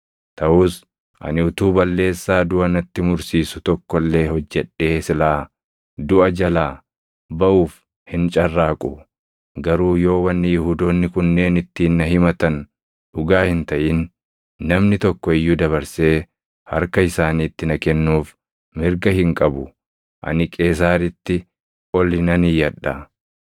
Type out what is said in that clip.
Taʼus ani utuu balleessaa duʼa natti mursiisu tokko illee hojjedhee silaa duʼa jalaa baʼuuf hin carraaqu; garuu yoo wanni Yihuudoonni kunneen ittiin na himatan dhugaa hin taʼin, namni tokko iyyuu dabarsee harka isaaniitti na kennuuf mirga hin qabu. Ani Qeesaaritti oli nan iyyadha!”